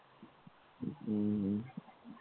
હમ હમ